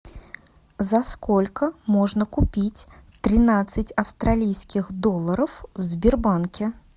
за сколько можно купить тринадцать австралийских долларов в сбербанке